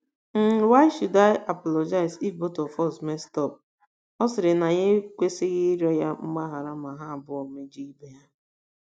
n, why should I apologize if both of us messed up? Ọ sịrị na ya ekwesịghị ịrịọ ya mgbaghara ma ha abụọ mejọọ ibe ha.